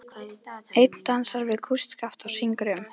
Einn dansar við kústskaft og syngur um